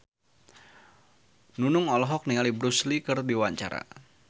Nunung olohok ningali Bruce Lee keur diwawancara